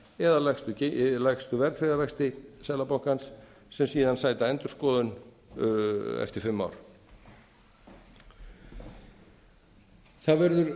eða lægstu verðtryggða vexti seðlabankans sem síðan sæta endurskoðun eftir fimm ár það er